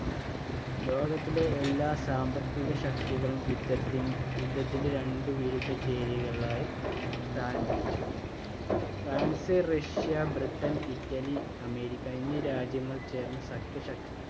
ലോകത്തിലെ എല്ലാ സാമ്പത്തിക ശക്തികളും യുദ്ധത്തിയുദ്ധത്തിന്റെ രണ്ടു വിരുദ്ധ ചേരികളിലായി സ്ഥാനം പിടിച്ചു. France, Russia, Britain, Italy, America എന്നീ രാജ്യങ്ങൾ ചേർന്ന സഖ്യ ശക്തി